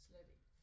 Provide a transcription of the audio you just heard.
Slet ikke